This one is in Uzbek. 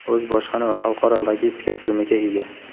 O‘z bojxona va xalqaro logistika tizimiga ega.